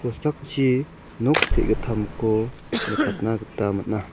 kosakchi nok te·gitamko nikatna gita man·a.